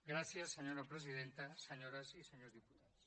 gràcies senyora presidenta senyores i senyors diputats